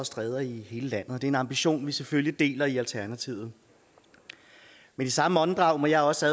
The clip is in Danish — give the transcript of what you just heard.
og stræder i hele landet det er en ambition vi selvfølgelig deler i alternativet men i samme åndedrag må jeg også